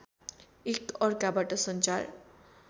एक अर्काबाट सञ्चार